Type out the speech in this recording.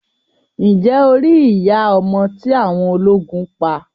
Ǹjẹ́ o rí iya ọmọ tí awọn ọlógún pa?